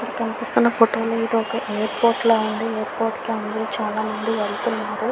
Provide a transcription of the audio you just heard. కనిపిస్తున్నా ఫొటో లో ఇది ఒక ఎయిర్పోర్ట్ లా ఉంది. ఎయిర్పోర్ట్ కి అందరూ చాల మంది వెళ్తున్నారు.